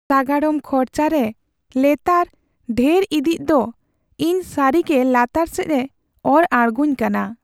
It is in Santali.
ᱥᱟᱜᱟᱲᱚᱢ ᱠᱷᱚᱨᱪᱟ ᱨᱮ ᱞᱮᱛᱟᱲ ᱰᱷᱮᱨ ᱤᱫᱤᱜ ᱫᱚ ᱤᱧ ᱥᱟᱹᱨᱤᱜᱮ ᱞᱟᱛᱟᱨ ᱥᱮᱡᱽᱼᱮ ᱚᱨ ᱟᱲᱜᱳᱧ ᱠᱟᱱᱟ ᱾